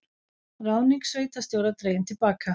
Ráðning sveitarstjóra dregin til baka